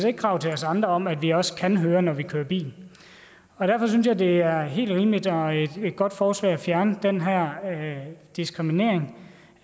ikke krav til os andre om at vi også kan høre når vi kører bil derfor synes jeg det er et helt rimeligt og godt forslag at fjerne den her diskriminering